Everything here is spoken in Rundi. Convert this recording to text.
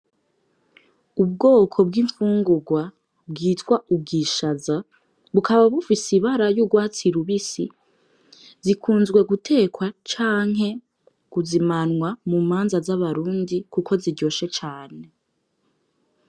Ubwoko bw'imfungurwa bwitwa ubwishaza gukaba bufise ibara y'ugwatsi lubisi zikunzwe gutekwa canke guzimanwa mu manza z'abarundi, kuko ziryoshe cane.